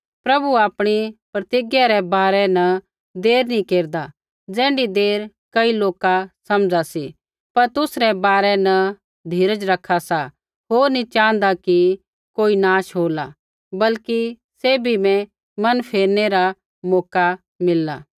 प्रभु आपणी प्रतिज्ञै रै बारै न देर नी केरदा ज़ैण्ढी देर कई लोका समझ़ा सी पर तुसरै बारै न धीरज रखा सा होर नी च़ाँहदा कि कोई नाश होला बल्कि सैभी बै मन फेरनै रा मौका मिलला